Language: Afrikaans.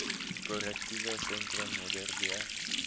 korrektiewe sentrum modderbee